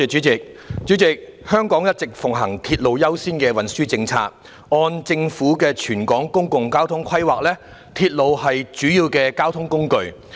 主席，香港一直奉行"鐵路優先"的運輸政策，按政府的全港公共交通規劃，鐵路是主要的交通工具。